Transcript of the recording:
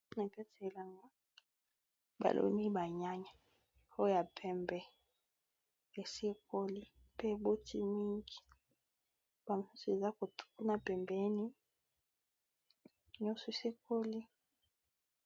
Na kati ya elanga baloni banyanya oyo ya pembe esikoli pe eboti mingi ba misusu eza kote kuna pembeni nyonso esi ekoli.